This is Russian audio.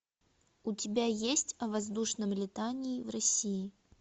у тебя есть о воздушном летании в россии